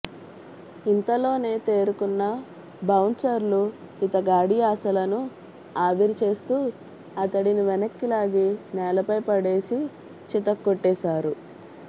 ఇంతలోనే తేరుకున్న బౌన్సర్లు ఇతగాడి ఆశలను ఆవిరి చేస్తూ అతడిని వెనక్కిలాగి నేలపై పడేసి చితక్కొట్టేశారు